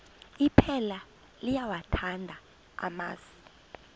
iphela liyawathanda amasi